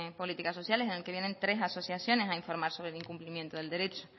políticas sociales al que vienen tres asociaciones a informar sobre el cumplimiento del derecho